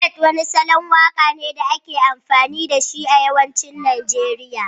Ballad wani salon waka ne da ake amfani da shi a yawancin Najeriya